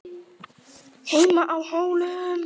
HEIMA Á HÓLUM